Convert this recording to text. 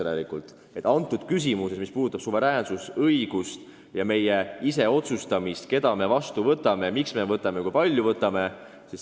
Praegu on küsimus suveräänsuses ja õiguses ise otsustada, keda me vastu võtame, miks võtame, kui palju võtame.